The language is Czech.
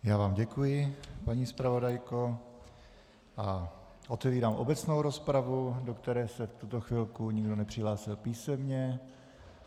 Já vám děkuji, paní zpravodajko, a otevírám obecnou rozpravu, do které se v tuto chvilku nikdo nepřihlásil písemně.